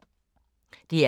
DR K